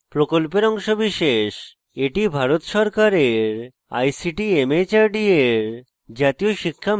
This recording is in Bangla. এটি ভারত সরকারের ict mhrd এর জাতীয় শিক্ষা mission দ্বারা সমর্থিত